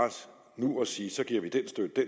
nu at sige at så giver vi den